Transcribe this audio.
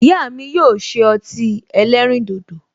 Ìyá mi yóò ṣe ọtí ẹlẹ́rìndòdò